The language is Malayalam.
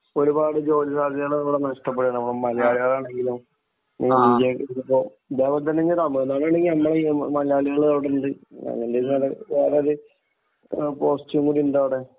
ഒരുപാട് ജോലി സാധ്യതകൾ ഇവിടെ നഷ്ടപ്പെടുകയാണ്. നമ്മുടെ മലയാളികൾ ആണെങ്കിലും ഇന്ത്യയിൽ, ഇതുപോലെതന്നെ തമിഴ്നാട്ടിൽ ആണെങ്കിലും നമ്മുടെ മലയാളികൾ അവിടെയുണ്ട്. മലയാളികൾ വളരെയധികം പോസ്റ്റുകളിൽ ഉണ്ട് അവിടെ.